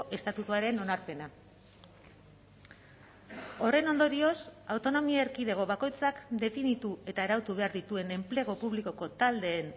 estatutuaren onarpena horren ondorioz autonomia erkidego bakoitzak definitu eta arautu behar dituen enplegu publikoko taldeen